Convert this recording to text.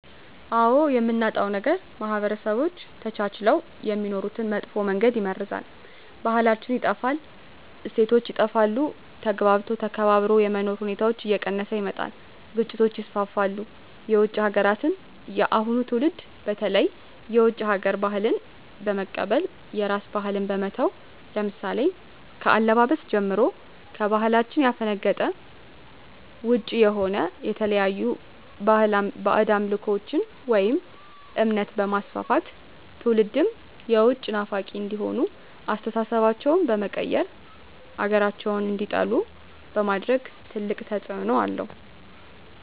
አዎ የምናጣው ነገር ማህበረሰቦች ተቻችለው የሚኖሩትን በመጥፎ መንገድ ይመርዛል , ባህላችን ይጠፋል, እሴቶች ይጠፋሉ, ተግባብቶ ተከባብሮ የመኖር ሁኔታዎች እየቀነሰ ይመጣል ግጭቶች ይስፋፋሉ። የውጭ ሀገራትን የአሁኑ ትውልድ በተለይ የውጭ ሀገር ባህልን በመቀበል የራስን ባህል በመተው ለምሳሌ ከአለባበስ ጀምሮ ከባህላችን ያፈነገጠ ውጭ የሆነ የተለያዩ ባህድ አምልኮቶችን ወይም እምነት በማስፋፋት ትውልድም የውጭ ናፋቂ እንዲሆኑ አስተሳሰባቸው በመቀየር ሀገራቸውን እንዲጠሉ በማድረግ ትልቅ ተፅዕኖ አለው።